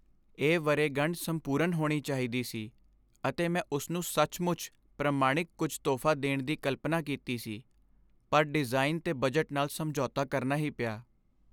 ਇਹ ਵਰ੍ਹੇਗੰਢ ਸੰਪੂਰਣ ਹੋਣੀ ਚਾਹੀਦੀ ਸੀ, ਅਤੇ ਮੈਂ ਉਸਨੂੰ ਸੱਚਮੁੱਚ ਪ੍ਰਮਾਣਿਕ ਕੁਝ ਤੋਹਫ਼ਾ ਦੇਣ ਦੀ ਕਲਪਨਾ ਕੀਤੀ ਸੀ। ਪਰ ਡਿਜ਼ਾਈਨ 'ਤੇ ਬਜਟ ਨਾਲ ਸਮਝੌਤਾ ਕਰਨਾ ਹੀ ਪਿਆ।